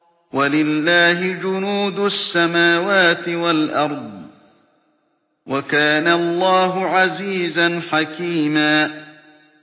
وَلِلَّهِ جُنُودُ السَّمَاوَاتِ وَالْأَرْضِ ۚ وَكَانَ اللَّهُ عَزِيزًا حَكِيمًا